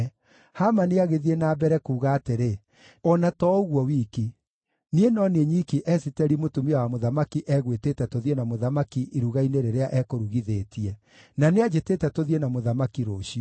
Hamani agĩthiĩ na mbere kuuga atĩrĩ, “O na to ũguo wiki, niĩ no niĩ nyiki Esiteri mũtumia wa mũthamaki egwĩtĩte tũthiĩ na mũthamaki iruga-inĩ rĩrĩa ekũrugithĩtie. Na nĩanjĩtĩte tũthiĩ na mũthamaki rũciũ.